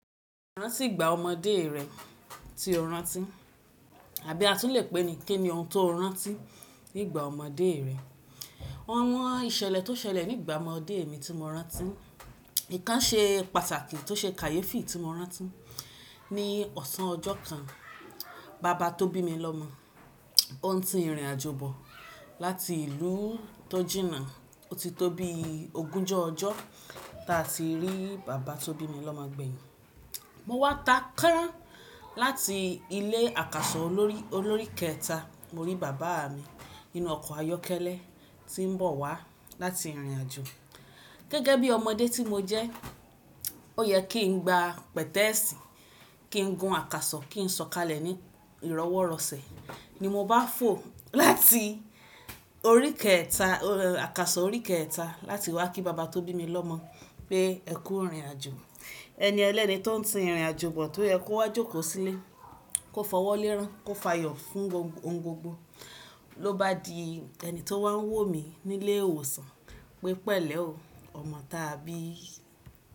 Rántí ìgbà ọmọdé rẹ tí o rántí. Àbí a tún lè pe ni ké ni ohun tó rántí ní ìgbà ọmọdé rẹ. Àwọn ìṣẹ̀lẹ̀ tó ṣẹlẹ̀ ní ìgbà ọmọdé mi tí mo rántí, ìkan ṣe pàtàkì tó ṣe kàyéfi tí mo rántí. Ni ọ̀sán ọjọ́ kan, bàbá tó bí mi lọ́mọ, ó ń ti ìrìnàjò bọ̀ láti ìlú tọ́jínà. Ó ti tó bí ogúnjọ́ ọjọ́ tá a ti rí bàbá tó bí mi lọ́mọ gbéyìn. Mo wá ta kán láti ilé àkàsọ̀ olórí kẹta. Mo rí bàbá mi nínú ọkọ̀ ayọ́kẹ́lẹ́ tí ń bọ̀ wá láti ìrìnàjò. Gẹ́gẹ́ bí ọmọdé tí mo jẹ́, ó yẹ kí n gba pẹ̀tẹ́ẹ̀sì, kí n gun àkàsọ̀, kí n sọ̀kalẹ̀ ní ìrọwọ́rọsẹ̀. Ni mo bá fò láti àkàsọ̀ orí kẹta láti wá kí bàbá tó bí mi lọ́mọ pé ẹ kú ìrìnàjò. Ẹni ẹlẹ́ni tó ń ti ìrìnàjò bọ̀ tó yẹ kó wá jókòó sílé, kó fọwọ́ lé erán, kó fayọ̀ fún ohun gbogbo. Lo bá di ẹni tó wá ń wò mí nílé ìwòsàn pé pẹ̀lẹ́ o, ọmọ tàbí.